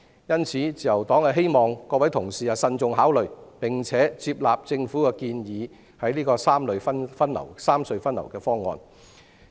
因此，自由黨希望各位同事慎重考慮，並且接納政府建議的三隧分流的方案。